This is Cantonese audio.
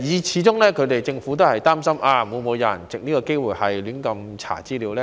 始終政府也擔心，會否有人藉此機會胡亂查閱資料呢？